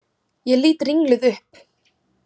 Ég lít ringluð upp.